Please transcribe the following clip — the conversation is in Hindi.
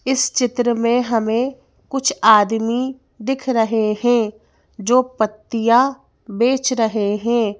इस चित्र में हमें कुछ आदमी दिख रहे हैं जो पत्तियां बेच रहे हैं।